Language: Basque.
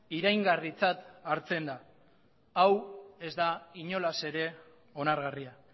iraingarritzat hartzen da hau ez da inolaz ere onargarria